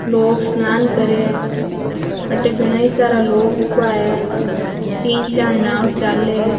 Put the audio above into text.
लोग स्नान करे है अठे घणै सारा लोग उभा है तीन चार नाव चालै।